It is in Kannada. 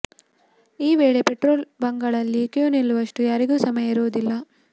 ಈ ವೇಳೆ ಪೆಟ್ರೋಲ್ ಬಂಕ್ಗಳಲ್ಲಿ ಕ್ಯೂ ನಿಲ್ಲುವಷ್ಟು ಯಾರಿಗೂ ಸಮಯ ಇರುದಿಲ್ಲ